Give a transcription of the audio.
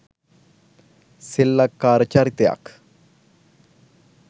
සෙල්ලක්කාර චරිතයක්